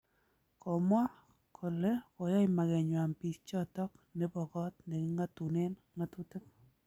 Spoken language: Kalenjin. Komwa kole koyai makenywan biik choton bo kot neking'atunen ng'atutik